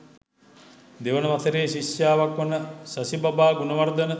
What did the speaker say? දෙවන වසරේ ශිෂ්‍යාවක් වන ශෂිපබා ගුණවර්ධන